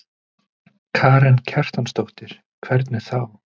Karen Kjartansdóttir: Hvernig þá?